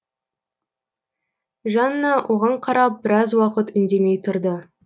жанна оған қарап біраз уақыт үндемей тұрды